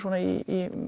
í